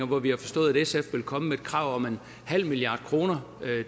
hvor vi har forstået at sf vil komme med et krav om en halv milliard kroner